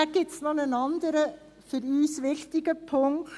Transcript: Es gibt noch einen weiteren für uns wichtigen Punkt: